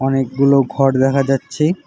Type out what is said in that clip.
অনেকগুলো ঘর দেখা যাচ্ছে।